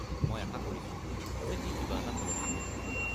মই আশা কৰিছোঁ যে ই কিবা এটা সলনি কৰিব।